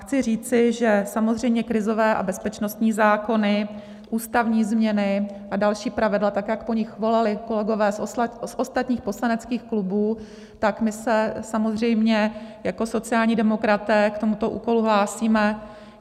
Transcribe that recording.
Chci říci, že samozřejmě krizové a bezpečnostní zákony, ústavní změny a další pravidla, tak jak po nich volali kolegové z ostatních poslaneckých klubů, tak my se samozřejmě jako sociální demokraté k tomuto úkolu hlásíme.